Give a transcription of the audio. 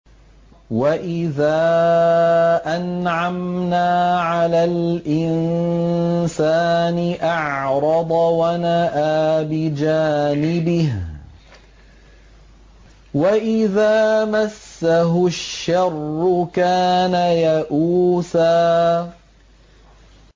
وَإِذَا أَنْعَمْنَا عَلَى الْإِنسَانِ أَعْرَضَ وَنَأَىٰ بِجَانِبِهِ ۖ وَإِذَا مَسَّهُ الشَّرُّ كَانَ يَئُوسًا